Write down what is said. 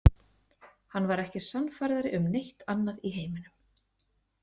Hann var ekki sannfærðari um neitt annað í heiminum.